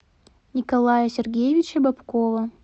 николая сергеевича бобкова